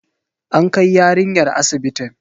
An kai yarinyar asibitin.